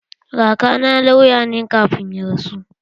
Kakana lauya ne kafin ya rasu.